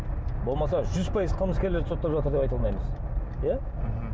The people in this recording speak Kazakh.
болмаса жүз пайыз қылымыскерлерді соттап жатыр деп айта алмаймыз иа мхм